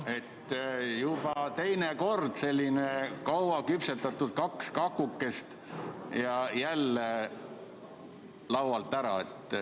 See on juba teine kord, kui kaks sellist kaua küpsetatud kakukest lähevad laualt ära.